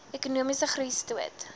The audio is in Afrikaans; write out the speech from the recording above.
ekonomiese groei stoot